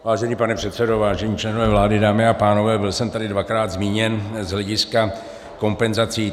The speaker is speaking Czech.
Vážený pane předsedo, vážení členové vlády, dámy a pánové, byl jsem tady dvakrát zmíněn z hlediska kompenzací.